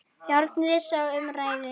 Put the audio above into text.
Járnin sem um ræðir.